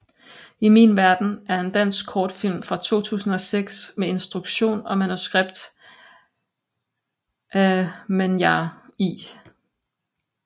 I min verden er en dansk kortfilm fra 2006 med instruktion og manuskript af Manyar I